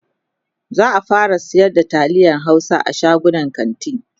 za'a fara sayar da taliyan Hausa a shagunan kanti